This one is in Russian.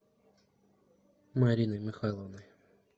мариной михайловной